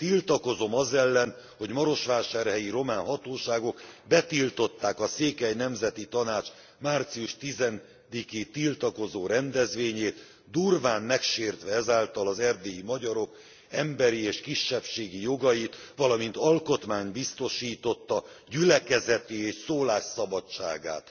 Tiltakozom az ellen, hogy marosvásárhelyi román hatóságok betiltották a Székely Nemzeti Tanács március 10 i tiltakozó rendezvényét, durván megsértve ezáltal az erdélyi magyarok emberi és kisebbségi jogait, valamint Alkotmány biztosította gyülekezeti és szólásszabadságát!